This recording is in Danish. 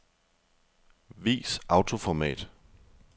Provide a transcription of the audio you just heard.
Vis autoformat.